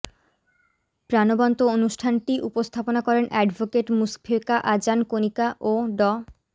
প্রাণবন্ত অনুষ্ঠানটি উপস্থাপনা করেন অ্যাডভোকেট মুশফেকা জাহান কণিকা ও ড